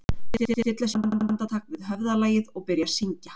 Þau stilla sér upp andartak við höfðalagið og byrja að syngja